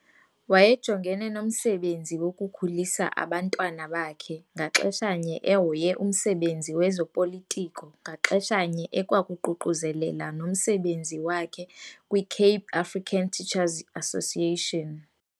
Wayejongene nomsebenzi wokukhulisa abantwana bakhe ngaxesha nye ehoye umsebenzi wezoPolitiko ngaxesha nye ekwakuququzelela nomsebenzi wakhe kwiCape African Teacher's Association.